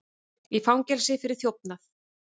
Í fangelsi fyrir þjófnað